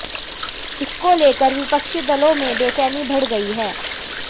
इसको लेकर विपक्षी दलों में बेचैनी बढ़ गई है